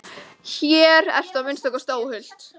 Hér ertu að minnsta kosti óhult.